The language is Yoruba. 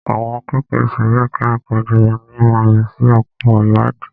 Àwọn akẹ́kọ̀ọ́ ìsòrí ẹka ẹ̀kọ́ Jamaní máa lọ sí oko ìwádìí.